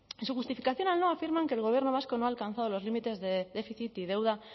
en su justificación afirman que el gobierno vasco no ha alcanzado los límites de déficit y deuda